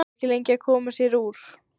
Sú er ekki lengi að koma sér úr!